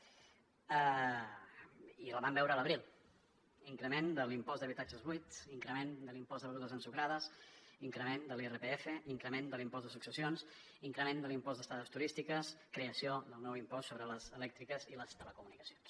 i la vam veure a l’abril increment de l’impost d’habitatges buits increment de l’impost de begudes ensucrades increment de l’irpf increment de l’impost de successions increment de l’impost d’estades turístiques creació del nou impost sobre les elèctriques i les telecomunicacions